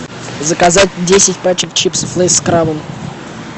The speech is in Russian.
заказать десять пачек чипсов лейс с крабом